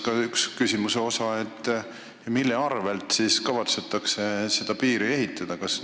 Ja küsimuse teine osa: mille arvel kavatsetakse seda piiri ehitada?